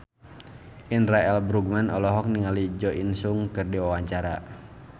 Indra L. Bruggman olohok ningali Jo In Sung keur diwawancara